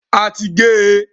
A ti gé e.